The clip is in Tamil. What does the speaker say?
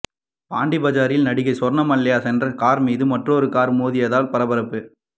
பாண்டிபஜாரில் நடிகை சொர்ணமால்யா சென்ற கார் மீது மற்றொரு கார் மோதியதால் பரபரப்பு